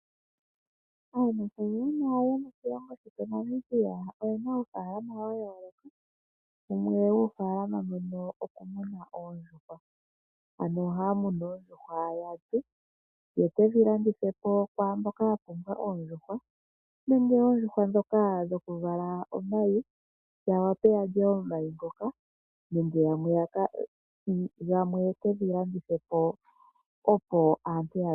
Aanafaalama yomoshilongo shetu Namibia oye na uunafaalama wa yooloka. Wumwe womuunafaalama mbono okumuna oondjuhwa. Ohaya munu oondjuhwa ya lye, ye ke dhi landithe po kwaa mboka ya pumbwa oondjuhwa nenge oondjuhwa ndhoka dhokuvala omayi ya wape ya lya omayi ngoka nenge gamwe ye ke ga landithe po.